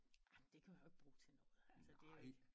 Ah det kan jeg jo ikke bruge til noget altså det er jo ikke